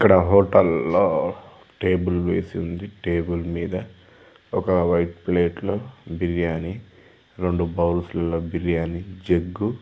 ఇక్కడ హోటల్ లో టేబల్ వేసి ఉంది టేబల్ మీద ఒక వైట్ ప్లేట్ లో బిర్యాని రెండు బౌల్ లో బిర్యానీ జగ్ --